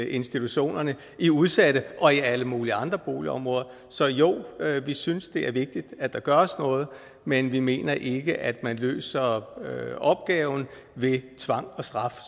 institutionerne i udsatte og alle mulige andre boligområder så jo vi synes det er vigtigt at der gøres noget men vi mener ikke at man løser opgaven ved tvang og straf